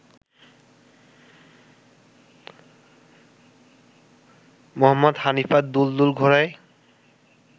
মুহম্মদ হানিফা ‘দুলদুল’ ঘোড়ায়